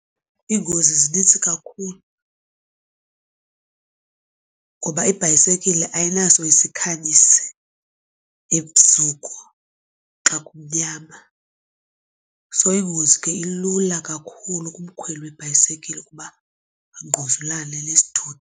Iingozi zinintsi kakhulu ngoba ibhayisekile ayinaso isikhanyisi ebusuku xa kumnyama. So ingozi ke ilula kakhulu kumkhweli webhayisikile ukuba angquzulane nesithuthi.